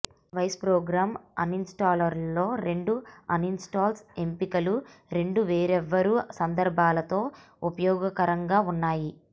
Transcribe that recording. vice program అన్ఇన్స్టాలర్లో రెండు uninstall ఎంపికలు రెండు వేర్వేరు సందర్భాలలో ఉపయోగకరంగా ఉన్నాయి